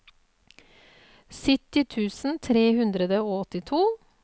sytti tusen tre hundre og åttito